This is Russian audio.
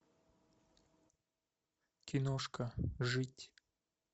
киношка жить